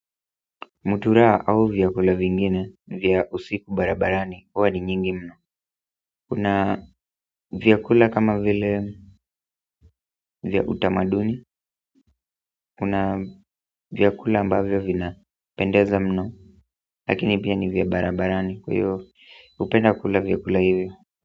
Mutura au vyakula vingine vya usiku barabarani huwa ni nyingi mno kuna vyakula kama vile vya utamaduni kuna vyakula ambavyo vinapendeza mno lakini pia ni vya barabarani kwa hiyo hupenda kula vyakula hivyo.